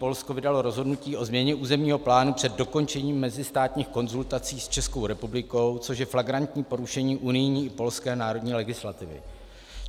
Polsko vydalo rozhodnutí o změně územního plánu před dokončením mezistátních konzultací s Českou republikou, což je flagrantní porušení unijní i polské národní legislativy.